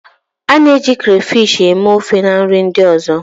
A na-eji crayfish eme ofe na nri ndị ọzọ.